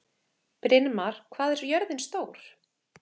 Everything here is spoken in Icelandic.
Brynmar, hvað er jörðin stór?